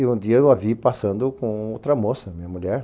E um dia eu a vi passando com outra moça, minha mulher.